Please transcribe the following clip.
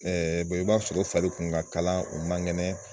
i b'a sɔrɔ o fari kun ka kalan o man kɛnɛ.